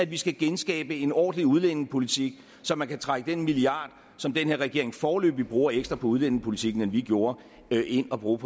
vi skal genskabe en ordentlig udlændingepolitik så man kan trække den milliard som den her regering foreløbig bruger ekstra på udlændingepolitikken end vi gjorde ind og bruge